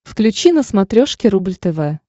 включи на смотрешке рубль тв